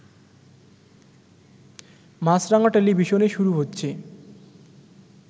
মাছরাঙা টেলিভিশনে শুরু হচ্ছে